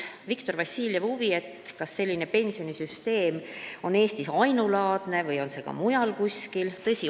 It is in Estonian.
Viktor Vassiljev tundis huvi, kas selline pensionisüsteem siin Eestis on ainulaadne või on see ka kuskil mujal.